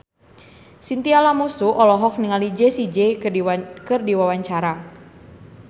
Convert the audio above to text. Chintya Lamusu olohok ningali Jessie J keur diwawancara